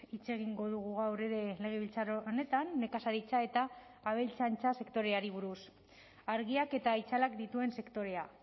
hitz egingo dugu gaur ere legebiltzar honetan nekazaritza eta abeltzaintza sektoreari buruz argiak eta itzalak dituen sektorea